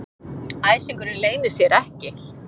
Æsingurinn leynir sér ekki.